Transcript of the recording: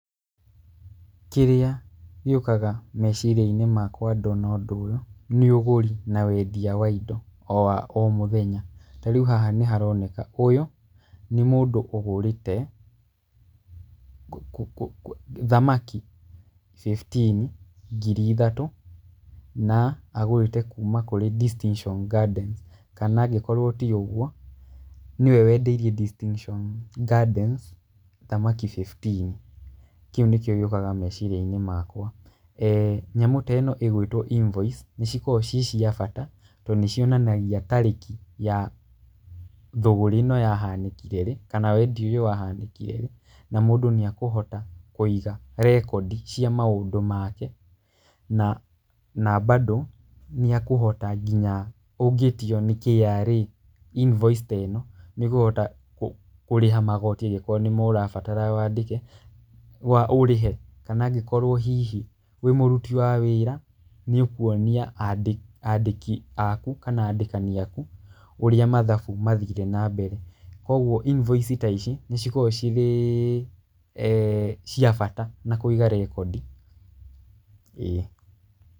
Kĩrĩa gĩũkaga meciria-inĩ makwa ndona ũndũ ũyũ, nĩ ũgũri na wendia wa indo wa o mũthenya. Ta rĩu haha nĩ haroneka ũyũ nĩ mũndũ ũgũrĩte thamakĩ, bĩbtini, ngiri ithatũ na agũrĩte kuma kũrĩ Distinction Gardens kana angĩkorwo ti ũguo, nĩwe wendeirie Distintion Gardens thamaki bĩbtini, kĩu nĩkĩo gĩũkaga meciria-inĩ makwa. Nyamũ teno ĩgwĩtwo invoice nĩ cikoragwo ci cia bata tondũ nĩ cionekaga tarĩki ya thũgũrĩ ĩno yahaanĩkire rĩ kana wendia ũyũ wahanĩkire rĩ na mũndũ nĩekũhota kũiga rekodi cia maũndũ make, na bandũ nginya ũngĩĩtio nĩ KRA invoice teno nĩ ũkohota kũrĩha magooti angĩkorwo nĩmo ũrabatara ũrĩhe, kana angĩkorwo hihi wĩ mũruti wa wĩĩra nĩ ũkuonia andĩki aku, kana andĩkani aku ũrĩa mathabu mathire na mbere koguo invoice ta ici nĩ cikoragwo cirĩ cia bata na kũiga rekondi, ĩĩ.